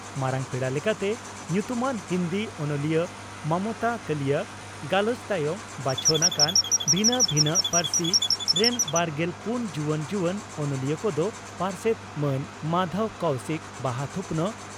ᱢᱟᱨᱟᱝ ᱯᱮᱲᱟ ᱞᱮᱠᱟᱛᱮ ᱧᱩᱛᱩᱢᱟᱱ ᱦᱤᱸᱫᱤ ᱚᱱᱚᱞᱤᱭᱟᱹ ᱢᱚᱢᱚᱛᱟ ᱠᱟᱹᱞᱤᱭᱟ ᱜᱟᱞᱚᱪ ᱛᱟᱭᱚᱢ ᱵᱟᱪᱷᱚᱱ ᱟᱠᱟᱱ ᱵᱷᱤᱱᱟᱹ ᱵᱷᱤᱱᱟᱹᱜ ᱯᱟᱹᱨᱥᱤ ᱨᱮᱱ ᱵᱟᱨᱜᱮᱞ ᱯᱩᱱ ᱡᱩᱣᱟᱹᱱ ᱡᱩᱣᱟᱹᱱ ᱚᱱᱚᱞᱤᱭᱟᱹ ᱠᱚᱫᱚ ᱯᱟᱨᱥᱮᱛ ᱢᱟᱱ ᱢᱟᱫᱷᱚᱵᱽ ᱠᱚᱣᱥᱤᱠ ᱵᱟᱦᱟ ᱛᱷᱩᱯᱱᱟᱜ